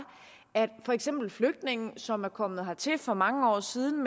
at for eksempel flygtninge som er kommet hertil for mange år siden